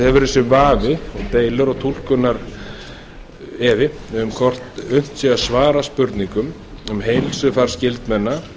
hefur þessi vafi og deilur og túlkunarefi um hvort unnt sé að svara spurningum um heilsufar skyldmenna